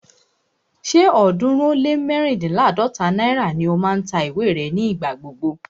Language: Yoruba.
Ṣé ọ̀ọ́dúnrún ó lé mẹ́ríndínláàdọ́ta náírà ni ó máa ń ta ìwé rẹ̀ ní ìgbà gbogbo